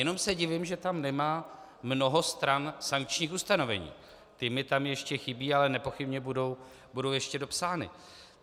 Jenom se divím, že tam nemá mnoho stran sankčních ustanovení, ty mi tam ještě chybí, ale nepochybně budou ještě dopsány.